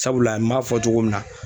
Sabula n m'a fɔ cogo min na